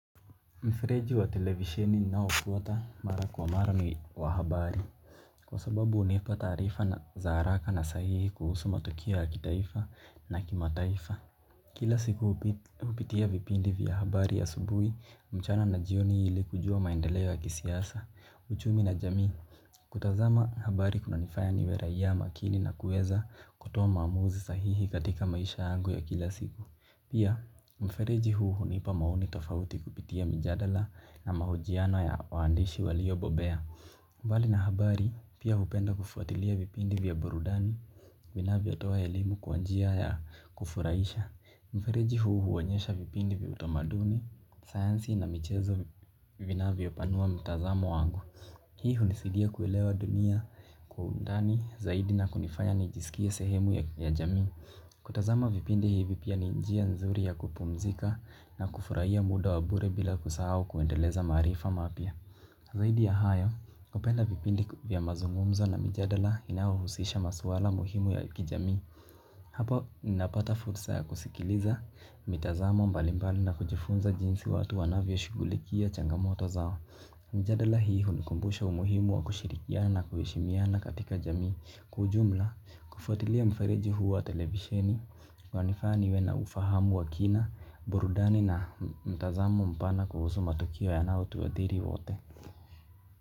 Mfereji wa televisheni nao huota mara kwa mara ni wa habari. Kwa sababu hunipa taarifa na za haraka na sahihi kuhusu matukio ya kitaifa na kimataifa. Kila siku hupitia vipindi vya habari ya asubuhi mchana na jioni ili kujua maendeleo ya kisiasa, uchumi na jamii. Kutazama habari kunanifanya niwe raia makini na kueza kutoa maamuzi sahihi katika maisha yangu ya kila siku. Pia, mfereji huu hunipa maoni tofauti kupitia mijadala na mahojiano ya waandishi waliobobea. Mbali na habari, pia hupenda kufuatilia vipindi vya burudani, vinavyotoa elimu kwa njia ya kufurahisha. Mfereji huu huonyesha vipindi vya utamaduni, sayansi na michezo vinavyopanua mtazamo wangu. Hii hunisidia kuelewa dunia kwa undani, zaidi na kunifanya nijiskie sehemu ya jamii. Kutazama vipindi hivi pia ni njia nzuri ya kupumzika na kufurahia muda wa bure bila kusahau kuendeleza maarifa mapya. Zaidi ya hayo, kupenda vipindi vya mazungumzo na mijadala inayohusisha maswala muhimu ya kijamii. Hapo, napata fursa ya kusikiliza, mitazamo mbalimbali na kujifunza jinsi watu wanavyo shughulikia changamoto zao. Mijadala hii hunikumbusha umuhimu wa kushirikiana na kuheshimiana katika jamii kwa ujumla kufwatilia mfereji huu wa televisheni. Wanifaa niwe na ufahamu wa kina. Burudani na mtazamo mpana kuhusu matukio yanayo tuadhiri wote.